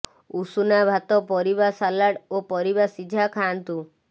ଉଷୁନା ଭାତ ପରିବା ସାଲାଡ୍ ଓ ପରିବା ସିଝା ଖାଆନ୍ତୁ